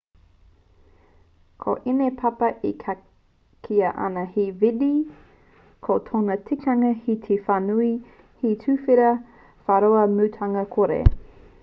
ko ēnei papa e kīa ana he vidde ko tōna tikanga he whānui he tuwhera whāroa mutunga kore